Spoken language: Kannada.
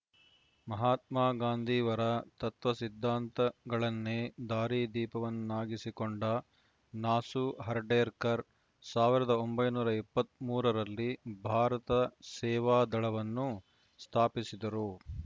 ಮಹಾತ್ಮ ಗಾಂಧಿವರ ತತ್ವ ಸಿದ್ಧಾಂತಗಳನ್ನೇ ದಾರಿ ದೀಪವನ್ನಾಗಿಸಿಕೊಂಡ ನಾಸು ಹರ್ಡೇಕರ್‌ ಸಾವಿರದ ಒಂಬೈನೂರ ಇಪ್ಪತ್ತ್ ಮೂರರಲ್ಲಿ ಭಾರತ ಸೇವಾ ದಳವನ್ನು ಸ್ಥಾಪಿಸಿದರು